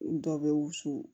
Dɔ bɛ wusu